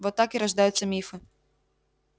вот так и рождаются мифы